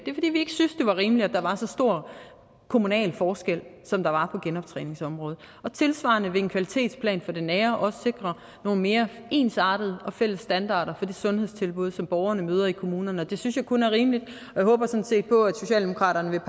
var rimeligt at der var så stor kommunal forskel som der var på genoptræningsområdet tilsvarende vil en kvalitetsplan for det nære sundhedsvæsen også sikre nogle mere ensartede og fælles standarder for det sundhedstilbud som borgerne møder i kommunerne og det synes jeg kun er rimeligt og jeg håber sådan set på at socialdemokratiet